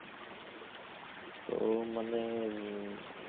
তো মানে এ~